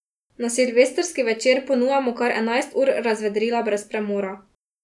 Na silvestrski večer ponujamo kar enajst ur razvedrila brez premora.